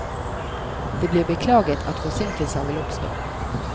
Det blir beklaget at forsinkelser vil oppstå.